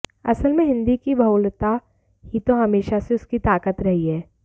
असल में हिंदी की बहुलता ही तो हमेशा से उसकी ताकत रही है